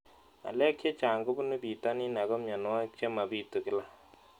Ng'alek chechang' kopunu pitonin ako mianwogik che mapitu kila